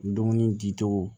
Dumuni di cogo